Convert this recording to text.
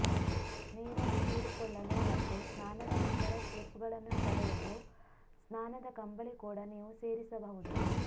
ನೀರನ್ನು ಹೀರಿಕೊಳ್ಳಲು ಮತ್ತು ಸ್ನಾನದ ನಂತರ ಸ್ಲಿಪ್ಗಳನ್ನು ತಡೆಯಲು ಸ್ನಾನದ ಕಂಬಳಿ ಕೂಡ ನೀವು ಸೇರಿಸಬಹುದು